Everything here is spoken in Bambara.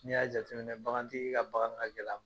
Ni y'a jateminɛ bagantigi ka bagan ka gɛlɛn a ma.